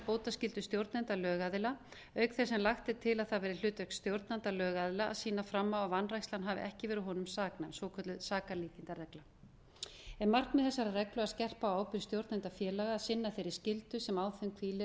bótaskyldu stjórnenda lögaðila auk þess sem lagt er til að það verði hlutverk stjórnanda lögaðila að sýna fram á að vanrækslan hafi ekki verið honum saknæm svokölluð sakalýsingarregla er markmið þessarar reglu að skerpa á ábyrgð stjórnenda félaga að sinna þeirri skyldu sem á þeim hvílir